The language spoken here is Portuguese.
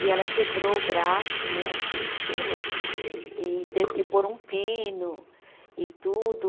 E ela quebrou o braço né, aqui em cima e teve que pôr um pino e tudo.